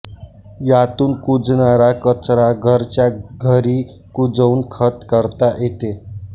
यातून कुजणारा कचरा घरच्या घरी कुजवून खत करता येते